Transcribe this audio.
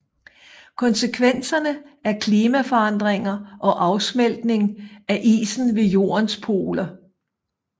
Konsekvenserne er klimaforandringer og afsmeltning af isen ved jordens poler